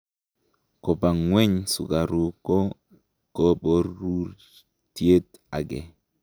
Koba ngweny sukaruk ko koborutiet age